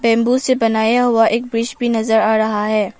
Bamboo से बनाया हुआ एक ब्रिज भी नजर आ रहा है।